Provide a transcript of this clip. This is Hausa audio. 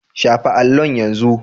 Shafa allon yanzu!